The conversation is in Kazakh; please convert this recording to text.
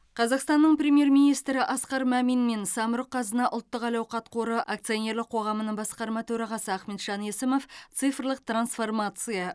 қазақстанның премьер министрі асқар мәмин мен самұрық қазына ұлттық әл ауқат қоры акционерлік қоғамының басқарма төрағасы ахметжан есімов цифрлық трансформация